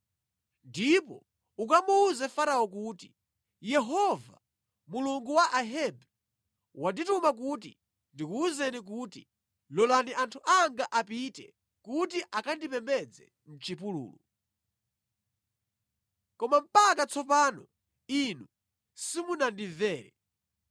Ndipo ukamuwuze Farao kuti, ‘Yehova, Mulungu wa Ahebri wandituma kuti ndikuwuzeni kuti: Lolani anthu anga apite kuti akandipembedze mʼchipululu. Koma mpaka tsopano inu simunandimvere.